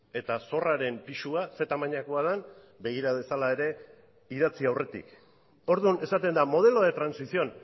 eta sorraren pisua ze tamainakoa den begira dezala ere idatzi aurretik orduan esaten da modelo de transición